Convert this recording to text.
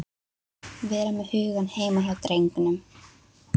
Vera með hugann heima hjá drengnum.